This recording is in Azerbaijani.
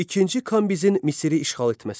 İkinci Kambizin Misiri işğal etməsi.